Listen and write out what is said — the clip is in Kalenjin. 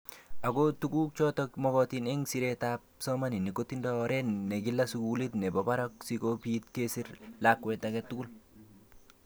Ako tukuk chotok mokotin eng siret ab psomamaninik kotindoi oret ne kila sukulit nebo barak siko pit kesir lakwet ake tugul.